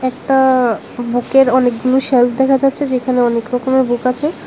আ্যঁ বুকের অনেকগুলো শেলফ দেখা যাচ্ছে যেখানে অনেক রকমের বুক আছে।